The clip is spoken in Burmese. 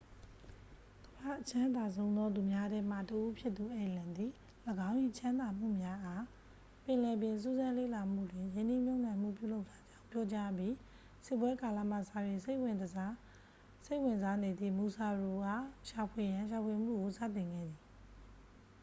ကမ္ဘာ့အချမ်းသာဆုံးသောသူများထဲမှ တစ် ဦးဖြစ်သူ အယ်လန် သည် ၎င်း၏ ချမ်းသာမှုများအား ပင်လယ်ပြင်စူးစမ်းလေ့လာမှုတွင် ရင်းနှီးမြှပ်နှံမှု ပြုလုပ်ထားကြောင်း ပြောကြားအပြီး စစ်ပွဲကာလမှစ၍ စိတ်ဝင်စားနေသည့် မူဆာရှီ အား ရှာဖွေရန် ရှာဖွေမှုကိုစတင်ခဲ့သည်